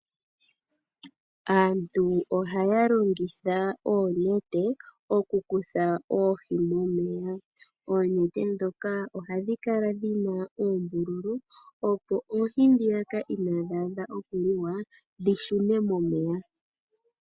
Aantu ohaya longitha oonete oku kutha oohi momeya. Oonete ndhoka ohadhi kala dhina oombululu, opo oohi ndhoka inadhi adha oku liwa, dhi shune momeya.